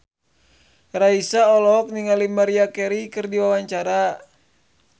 Raisa olohok ningali Maria Carey keur diwawancara